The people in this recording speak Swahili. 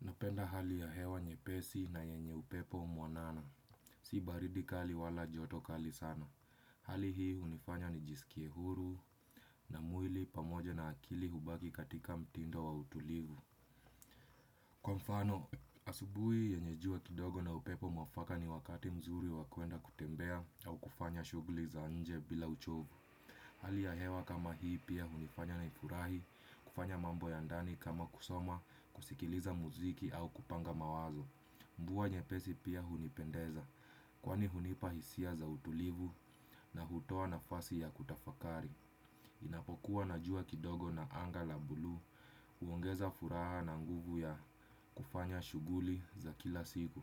Napenda hali ya hewa nye pesi na yenye upepo mwanana. Si baridi kali wala joto kali sana. Hali hii unifanye nijisikie huru na mwili pamoja na akili hubaki katika mtindo wa utulivu. Kwa mfano, asubui yenye jua kidogo na upepo mwafaka ni wakati mzuri wa kwenda kutembea au kufanya shugli za nje bila uchovu. Hali ya hewa kama hii pia hunifanya naifurahi, kufanya mambo ya ndani kama kusoma, kusikiliza muziki au kupanga mawazo. Mvuwa nyepesi pia hunipendeza, kwani hunipa hisia za utulivu na hutoa nafasi ya kutafakari. Inapokuwa na jua kidogo na anga la bulu, uongeza furaha na nguvu ya kufanya shuguli za kila siku.